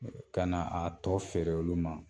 Ka na a tɔ feere olu ma